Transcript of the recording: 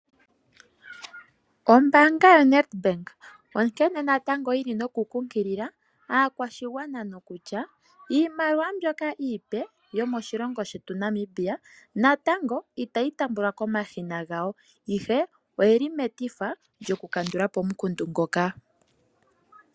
Oombanga yoNetBank onkene natango yili nokunkilila aakwashigwana nokutya iimaliwa mboka iipe yomoshilongo shetu Namibia, natango ita yi taambiwako komashina ihe, oyeli metifa lyokukandula po omukundu ngoka.